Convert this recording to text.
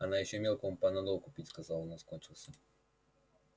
она ещё мелкому панадол купить сказала у нас кончился